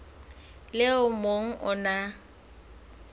le o mong o na